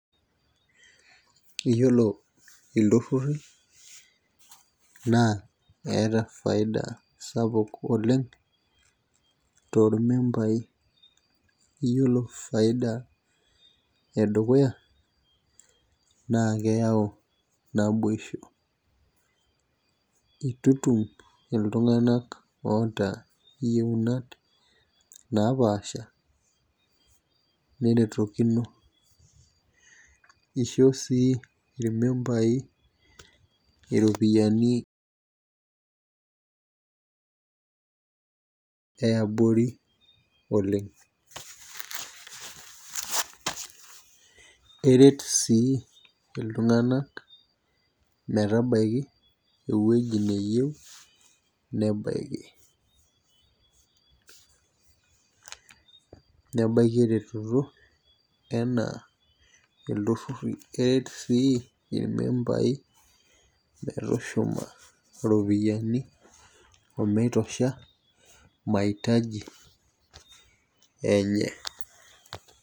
Iyiolo iltururi naa eeta faida sapuk oleng, tolmembai, iyiolo faida edukuya, naa keyau naboisho. itutum iltunganak, oota iyieunot napaasha neretokino, isho sii ilmembai iropiyiani yiabori oleng. eret sii iltunganak. metabaiki ewueji neyieu nebaiki. nebaiki eretoto anaa iltururi. eret sii ilmembai. metushuma iropiyiani omitosha, maitaji enye.